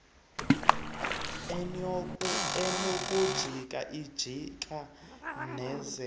enokujika jika nekwaziyo